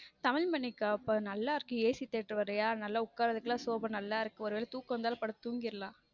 தமிழ் மண்ணைக் காப்பது நல்லா இருக்க AC theater வேற இல்லையா நல்லா உக்கா sofa நல்லா இருக்கும் ஒருவேளை தூக்கம் வந்தாலும் படுத்து தூங்கிடலாம்